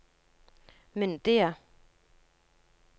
myndige